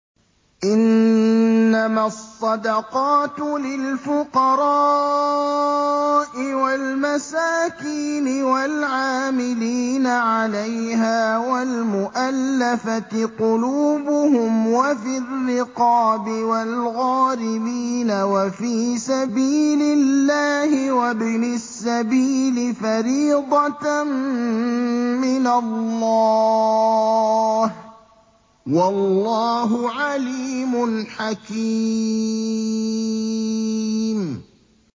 ۞ إِنَّمَا الصَّدَقَاتُ لِلْفُقَرَاءِ وَالْمَسَاكِينِ وَالْعَامِلِينَ عَلَيْهَا وَالْمُؤَلَّفَةِ قُلُوبُهُمْ وَفِي الرِّقَابِ وَالْغَارِمِينَ وَفِي سَبِيلِ اللَّهِ وَابْنِ السَّبِيلِ ۖ فَرِيضَةً مِّنَ اللَّهِ ۗ وَاللَّهُ عَلِيمٌ حَكِيمٌ